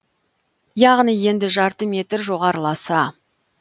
яғни енді жарты метр жоғарыласа